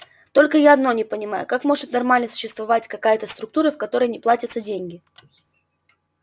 только я одно не понимаю как может нормально существовать какая-то структура в которой не платятся деньги